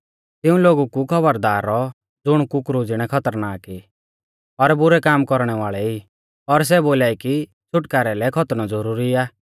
तिऊं लोगु कु खौबरदार रौऔ ज़ुण कुकरु ज़िणै खतरनाक ई और बुरै काम कौरणै वाल़ै ई और सै बोलाई कि छ़ुटकारै लै खतनौ ज़ुरुरी आ